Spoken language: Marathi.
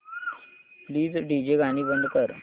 प्लीज डीजे गाणी बंद कर